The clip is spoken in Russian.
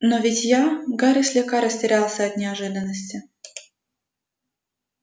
но ведь я гарри слегка растерялся от неожиданности